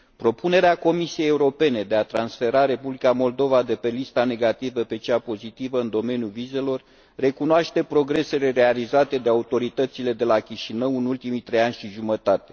Propunerea Comisiei Europene de a transfera Republica Moldova de pe lista negativă pe cea pozitivă în domeniul vizelor recunoaște progresele realizate de autoritățile de la Chișinău în ultimii trei ani și jumătate.